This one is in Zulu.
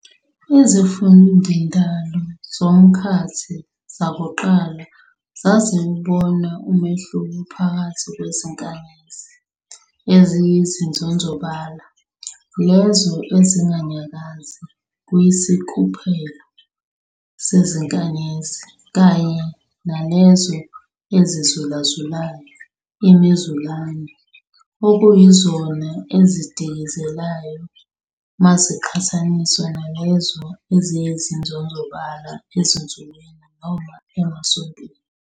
IziMfundindalo zomkhathi zakuqala zaziwuboa umehluko phakathi kwezinkanyezi "eziyizinzonzobala", lezo ezinganyakazi kwisikhuphelo sezinkanyezi, kanye nalezo "ezizulazulayo", imiZulane, okuyizona ezidikizelayo maziqhathaniswa nalezo eziyizinzonzobala ezinsukwini noma emasontweni.